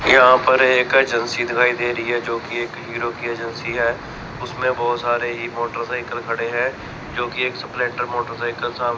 यहां पर एक एजेंसी दिखाई दे रही है जो कि एक हीरो की एजेंसी है उसमें बहुत सारे ही मोटरसाइकल खड़े हैं जो कि एक स्प्लेंडर मोटरसाइकल सा--